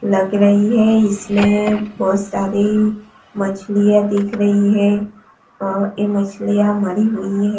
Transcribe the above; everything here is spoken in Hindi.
लग रही है इसमें बहोत सारी मछलियां दिख रही है और ये मछलियां मरी हुई है।